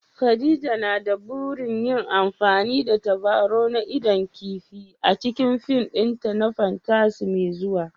Khadija na da burin yin amfani da tabarau na idon kifi a cikin fim ɗinta na fantasy mai zuwa